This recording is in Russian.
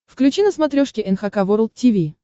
включи на смотрешке эн эйч кей волд ти ви